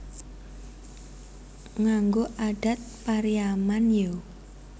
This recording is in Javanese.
Nganggo adat Pariaman yo?